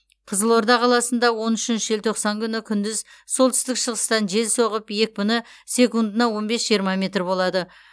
қызылорда қаласында он үшінші желтоқсан күні күндіз солтүстік шығыстан жел соғып екпіні секундына он бес жиырма метр болады